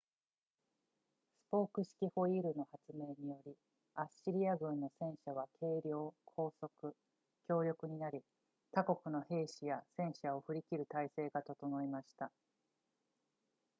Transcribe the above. スポーク式ホイールの発明によりアッシリア軍の戦車は軽量高速強力になり他国の兵士や戦車を振り切る体制が整いました